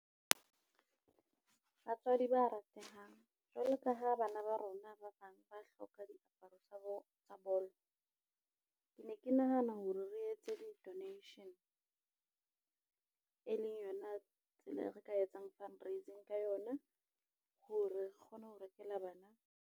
Batswadi ba ratehang jwalo ka ha bana ba rona ba bang ba hloka diaparo tsa bolo. Ke ne ke nahana hore re etse di donation, e leng yona tsela eo re ka etsang fundraising ka yona, ho re kgone ho rekela bana.